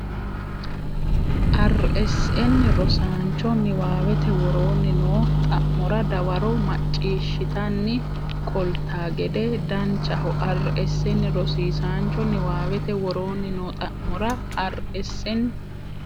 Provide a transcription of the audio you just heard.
Rsn rosiisaancho Niwaawete woroonni noo xa mora dawaro macciishshitanni qolta gede Danchaho Rsn rosiisaancho Niwaawete woroonni noo xa mora Rsn.